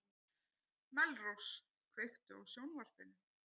Melrós, kveiktu á sjónvarpinu.